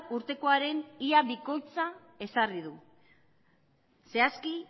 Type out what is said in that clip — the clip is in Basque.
urtekoaren ia bikoitza ezarri du zehazki